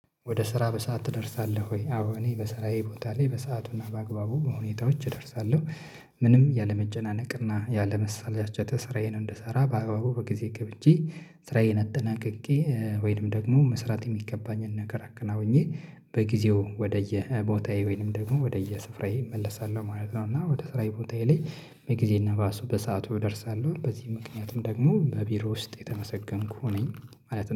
ወደ ስራ በሰአት እደርሳለሁ ወይ? አዎ እኔ በሰራዬ ቦታ ላይ በሰአቱና በአግባቡ በሁኔታዎች እደርሳለሁ። ምንም ያለመጨናነቅና ያለመሳላቸት ስራዬ እንድሰራ በአባቡ ከጊዜ ገብቼ ስራዬን አጠናቅቄ ወይንም ደግሞ መስራት የሚገባኝን ነገር አከናውኜ በጊዜው ወደየ ቦታዬ ወይንም ደግሞ ወደየ ስራየ እመለሳለሁ ማለት ነው። እና ወደ ስራዬ ቦታዬ ላይ በጊዜ ባሱ በሰአቱ እደርሳለሁ በዚህ ምክንያትም ደግሞ በቢሮ ውስጥ የተመሰገንኩህ ነኝ። ማለት